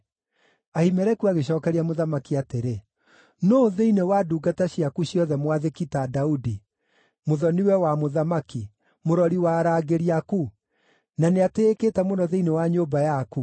Ahimeleku agĩcookeria mũthamaki atĩrĩ, “Nũũ thĩinĩ wa ndungata ciaku ciothe mwathĩki ta Daudi, mũthoni-we wa mũthamaki, mũrori wa arangĩri aku, na nĩatĩĩkĩte mũno thĩinĩ wa nyũmba yaku?